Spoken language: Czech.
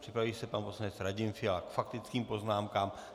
Připraví se pan poslanec Radim Fiala k faktickým poznámkám.